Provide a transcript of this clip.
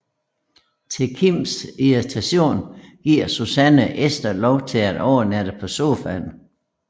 Til Kims irritation giver Susanne Ester lov til at overnatte på sofaen